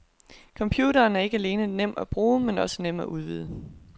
Computeren er ikke alene nem at bruge, men også nem at udvide.